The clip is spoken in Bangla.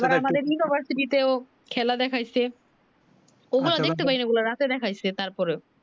আর আমাদের university তেও খেলা দেখাইছে ও গুলা দেখতে পারি নি রাতে দেখাইছে তারপরেও